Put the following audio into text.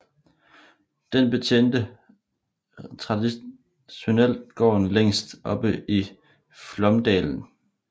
Den betjente traditionelt gården længst oppe i Flåmsdalen